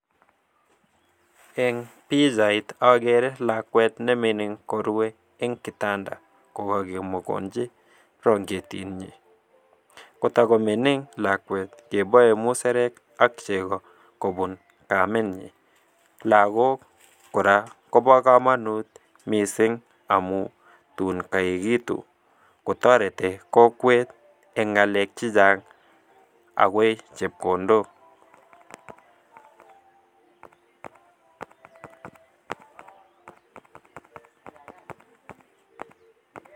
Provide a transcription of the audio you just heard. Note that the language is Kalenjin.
Eng pichait agere lakwet ne mining ko rue eng kitanda ko kakemokonji branketit nyin. Kotakomining lakwe kibae musarek ak chego kobun kaminyi. Lagok ko ra koba kamanut mising amu tun koeigitu kototeti kokwet eng ngalek che chang, ak koe chepkondok.